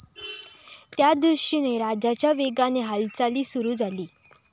त्यादृष्टीने राजाच्या वेगाने हालचाली सुरु झाली.